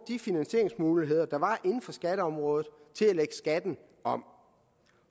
de finansieringsmuligheder der var inden for skatteområdet til at skatten om